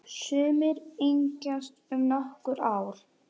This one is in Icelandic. Sumir yngjast um nokkur ár.